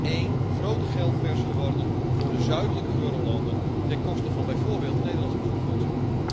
Het is één grote geldpers geworden voor de zuidelijke eurolanden, ten koste van bijvoorbeeld de Nederlandse pensioenfondsen.